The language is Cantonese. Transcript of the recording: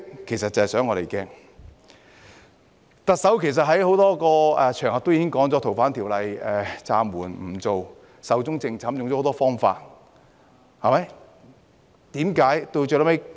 其實，特首在多個場合表示《逃犯條例》修訂已經暫緩、壽終正寢，用了很多方法解釋。